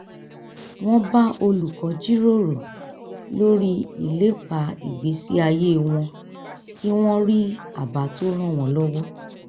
wọ́n bá olùkọ́ jíròrò lórí ìlépa ìgbésí ayé wọn kí wọ́n rí àbá tó ràn wọ́n lọ́wọ́